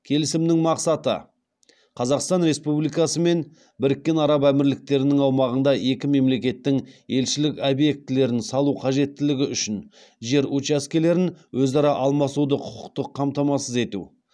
келісімнің мақсаты қазақстан республикасы мен біріккен араб әмірліктерінің аумағында екі мемлекеттің елшілік объектілерін салу қажеттілігі үшін жер учаскелерін өзара алмасуды құқықтық қамтамасыз ету